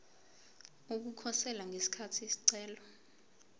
ukukhosela ngesikhathi isicelo